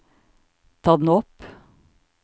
ta den opp